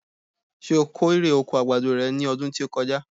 Ṣé o kó ire oko àgbàdo re ní ọdún tí ó kọjá?